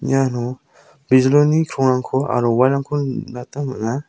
iano bijolini krongrangko aro wal rangko nikna gita man·a.